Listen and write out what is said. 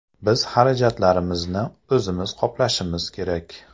Biz xarajatlarimizni o‘zimiz qoplashimiz kerak.